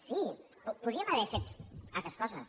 sí podríem haver fet altres coses